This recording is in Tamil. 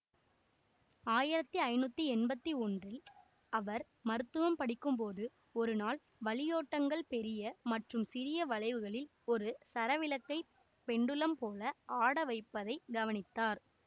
ஆயிரத்தி ஐநூற்றி எம்பத்தி ஒன்றில் அவர் மருத்துவம் படிக்கும் போது ஒரு நாள் வளியோட்டங்கள் பெரிய மற்றும் சிறிய வளைவுகளில் ஒரு சரவிளக்கை பெண்டுலம் போல ஆடவைப்பதை கவனித்தார்